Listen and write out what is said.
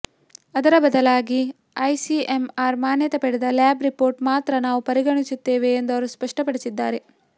ಅದರ ಬದಲಾಗಿ ಐಸಿಎಂಆರ್ ಮಾನ್ಯತೆ ಪಡೆದ ಲ್ಯಾಬ್ ರಿಪೋರ್ಟ್ ಮಾತ್ರ ನಾವು ಪರಿಗಣಿಸುತ್ತೇವೆ ಎಂದು ಅವರು ಸ್ಪಷ್ಟಪಡಿಸಿದ್ದಾರೆ